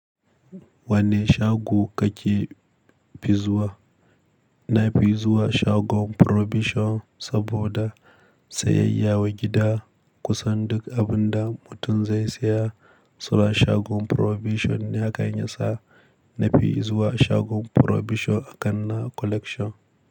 Wanne shago kake fizuwa? Na fi zuwa shagon Probishon saboda sayayya wa gida kusan duk abin da mutum zai saya. To a shagon Probishon ne hakan ya sa. Na fi zuwa shagon Probishon a kan na Collection.